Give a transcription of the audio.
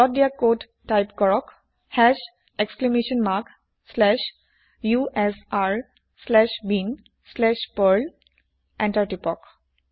তলত দিয়া code type কৰক hash exclamation mark slash u s r slash bin slash perl enter টিপক